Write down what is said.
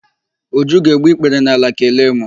Uju ga-egbu ikpere n'ala kelee mụ.